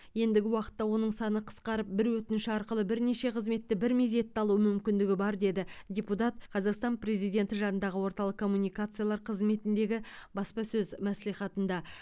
ендігі уақытта оның саны қысқарып бір өтініш арқылы бірнеше қызметті бір мезетте алу мүмкіндігі бар деді депутат қазақстан президенті жанындағы орталық коммуникациялар қызметіндегі баспасөз мәслихатында